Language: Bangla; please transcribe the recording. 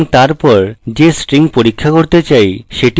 এবং তারপর যে string পরীক্ষা করতে চাই সেটি উল্লেখ করব